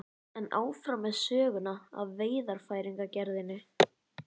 En áfram með söguna af veiðarfæragerðinni.